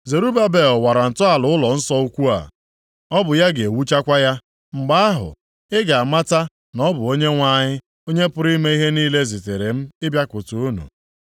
“Zerubabel wara ntọala ụlọnsọ ukwu a, ọ bụ ya ga-ewuchakwa ya. Mgbe ahụ, ị ga-amata na ọ bụ Onyenwe anyị, Onye pụrụ ime ihe niile zitere m ịbịakwute unu.